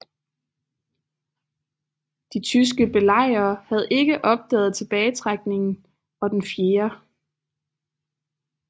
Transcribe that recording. De tyske belejrere havde ikke opdaget tilbagetrækningen og den 4